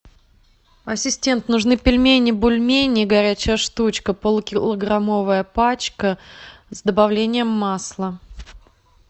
ассистент нужны пельмени бульмени горячая штучка полукилограммовая пачка с добавлением масла